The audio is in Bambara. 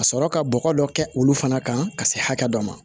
Ka sɔrɔ ka bɔgɔ dɔ kɛ olu fana kan ka se hakɛ dɔ ma